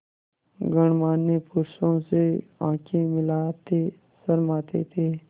गणमान्य पुरुषों से आँखें मिलाते शर्माते थे